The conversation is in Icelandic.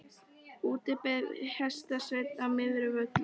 Úti fyrir beið hestasveinninn á Möðruvöllum.